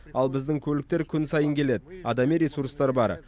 ал біздің көліктер күн сайын келеді адами ресурстар бар